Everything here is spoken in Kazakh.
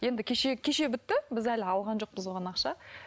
енді кеше кеше бітті біз әлі алған жоқпыз оған ақша